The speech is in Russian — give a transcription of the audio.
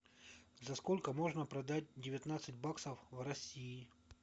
за сколько можно продать девятнадцать баксов в россии